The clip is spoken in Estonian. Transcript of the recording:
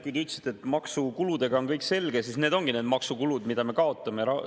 Kui te ütlesite, et maksukuludega on kõik selge, siis need ongi need maksukulud, mida me kaotame.